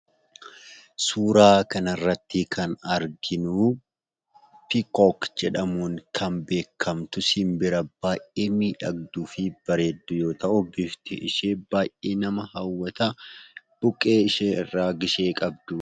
Suuraa kanarratti kan arginuu pikook jedhamuun kan beekkamtu simbira baayyee miidhagduufi bareedduu yoo ta'u bifti ishee baayyee nama hawwataa, buqqee ishee irraa gishee qabdu